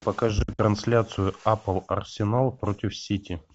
покажи трансляцию апл арсенал против сити